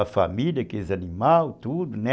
A família, aqueles animais, tudo, né?